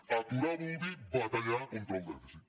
aturar vol dir batallar contra el dèficit